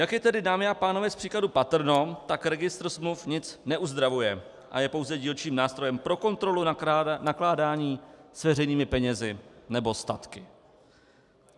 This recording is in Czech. Jak je tedy, dámy a pánové, z příkladu patrno, tak registr smluv nic neuzdravuje a je pouze dílčím nástrojem pro kontrolu nakládání s veřejnými penězi nebo statky.